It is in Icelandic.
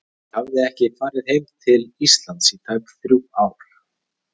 Ég hafði ekki farið heim til Íslands í tæp þrjú ár.